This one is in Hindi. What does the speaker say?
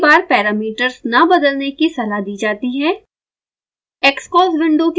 आपको पहली बार पैरामीटर्स न बदलने की सलाह दी जाती है